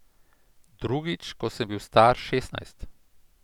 Drugič, ko sem bil star šestnajst.